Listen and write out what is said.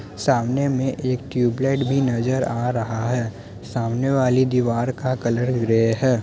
सामने में एक ट्यूबलाइट भी नजर आ रहा है। सामने वाली दीवार का कलर ग्रे है।